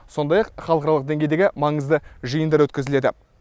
сондай ақ халықаралық деңгейдегі маңызды жиындар өткізіледі